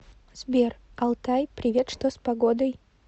сбер алтай привет что с погодой